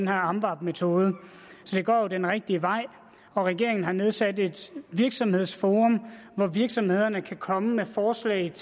amvab metoden så det går jo den rigtige vej regeringen har også nedsat et virksomhedsforum hvor virksomhederne kan komme med forslag